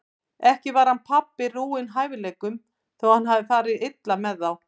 Ekki var hann pabbi rúinn hæfileikum þótt hann hafi farið illa með þá.